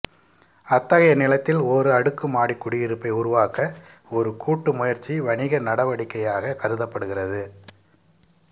அத்தகைய நிலத்தில் ஒரு அடுக்குமாடி குடியிருப்பை உருவாக்க ஒரு கூட்டு முயற்சி வணிக நடவடிக்கையாக கருதப்படுகிறது